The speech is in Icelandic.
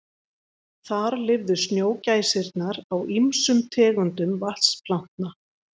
Þar lifðu snjógæsirnar á ýmsum tegundum vatnaplantna.